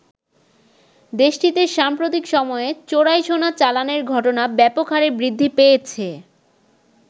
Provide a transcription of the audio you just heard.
দেশটিতে সাম্প্রতিক সময়ে চোরাই সোনা চালানের ঘটনা ব্যাপক হারে বৃদ্ধি পেয়েছে।